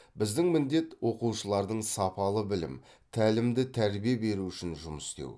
біздің міндет оқушылардың сапалы білім тәлімді тәрбие беру үшін жұмыс істеу